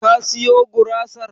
Ka siyo gurasar?